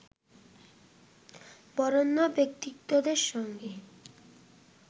বরেণ্য ব্যক্তিত্বদের সঙ্গে